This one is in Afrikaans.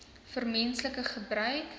vir menslike gebruik